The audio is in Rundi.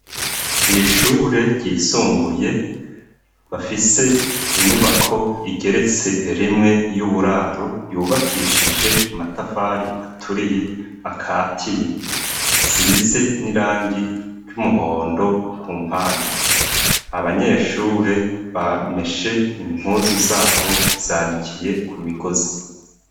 Kw'ishure ryisumbuye bafise inyubako igeretse erimwe y'uburaro yubakishije amatafari aturiye akatiye nsize n'irangi ry'umuhondo ku mpande abanyeshure bameshe impue zu zabo zanikiye ku migozi.